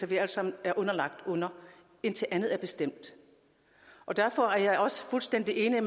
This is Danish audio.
vi alle sammen er underlagt indtil andet er bestemt og derfor er jeg også fuldstændig enig i